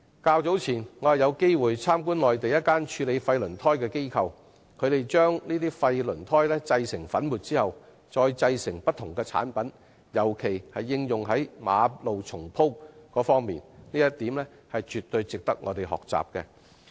較早前，我曾經參觀內地一間處理廢輪胎的機構，看到廢輪胎製成粉末後可製成不同產品，特別是用以重鋪馬路的物料，這一點絕對值得我們學習。